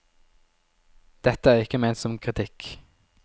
Dette er ikke ment som kritikk.